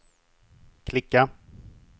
klicka